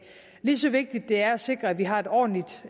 lige så vigtigt det er at sikre at vi har et ordentligt